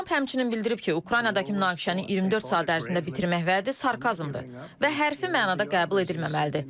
Tramp həmçinin bildirib ki, Ukraynadakı münaqişəni 24 saat ərzində bitirmək vədi sarkazmdır və hərfi mənada qəbul edilməməlidir.